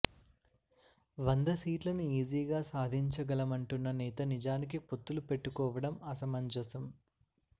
వంద సీట్లను ఈజీగా సాధించలమంటున్న నేత నిజానికి పొత్తులు పెట్టుకోవడం అసమంజసం